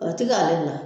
O ti k'ale la